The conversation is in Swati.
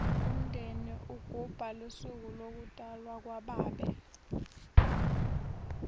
unindeni ygubha lusuku lokutafwo kwababe